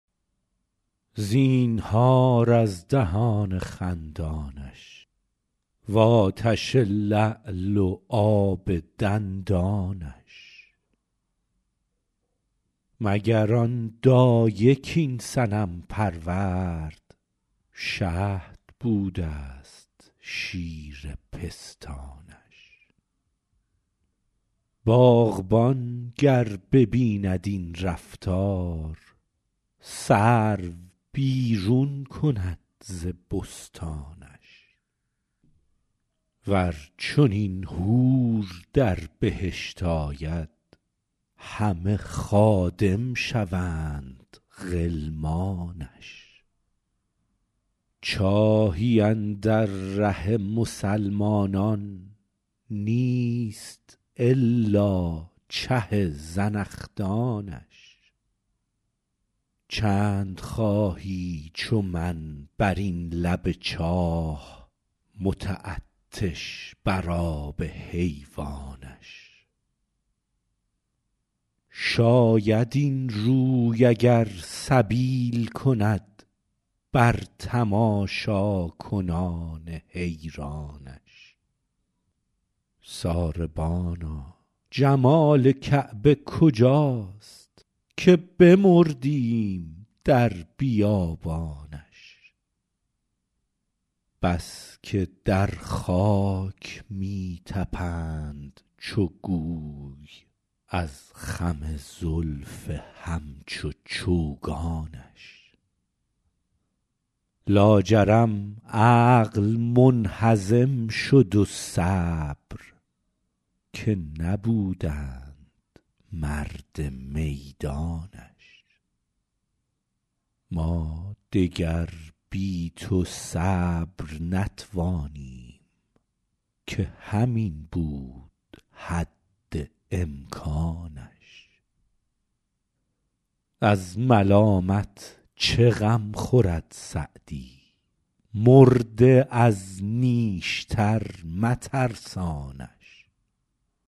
زینهار از دهان خندانش و آتش لعل و آب دندانش مگر آن دایه کاین صنم پرورد شهد بوده ست شیر پستانش باغبان گر ببیند این رفتار سرو بیرون کند ز بستانش ور چنین حور در بهشت آید همه خادم شوند غلمانش چاهی اندر ره مسلمانان نیست الا چه زنخدانش چند خواهی چو من بر این لب چاه متعطش بر آب حیوانش شاید این روی اگر سبیل کند بر تماشاکنان حیرانش ساربانا جمال کعبه کجاست که بمردیم در بیابانش بس که در خاک می طپند چو گوی از خم زلف همچو چوگانش لاجرم عقل منهزم شد و صبر که نبودند مرد میدانش ما دگر بی تو صبر نتوانیم که همین بود حد امکانش از ملامت چه غم خورد سعدی مرده از نیشتر مترسانش